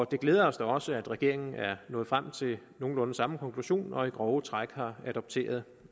det glæder os da også at regeringen er nået frem til nogenlunde samme konklusion og i grove træk har adopteret